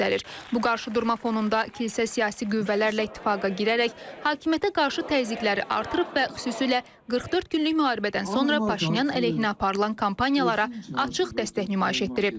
Bu qarşıdurma fonunda kilsə siyasi qüvvələrlə ittifaqa girərək hakimiyyətə qarşı təzyiqləri artırıb və xüsusilə 44 günlük müharibədən sonra Paşinyan əleyhinə aparılan kampaniyalara açıq dəstək nümayiş etdirib.